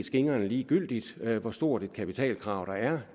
skingrende ligegyldigt hvor stort et kapitalkrav der er